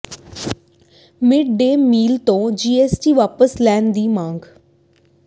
mid day meal ਤੋਂ GST ਵਾਪਸ ਲੈਣ ਦੀ ਮੰਗ